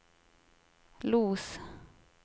Los